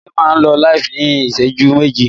Ọrẹ máa lọ LIVE ní ìṣẹ́jú méjì